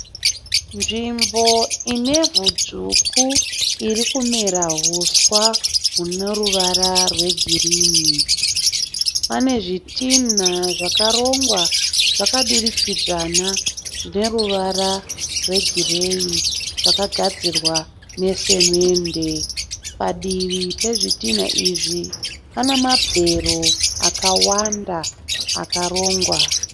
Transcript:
Nzvimbo inevhu dzvuku iri kumera huswa hune ruvara rwegirinhi. Pane zvitinha zvakarongwa zvakadurikidzana zvine ruvara rwegireyi zvakagadzirwa nesemende. Padivi pezvitinha izvi pane mabhero akawanda akarongwa.